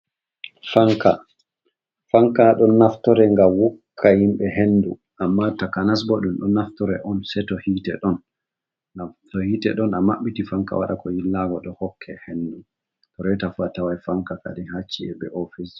Fanka, fanka ɗon naftore ngam wukka himɓe hendu amma takanas bo ɗum ɗon naftore on sei to hite ɗon, ngam to hiite ɗon amaɓɓiti fanka waɗa ko yirlaago ɗo hokke hendu. Reeta fu atawai fanka kadi ha ci'e be ofis.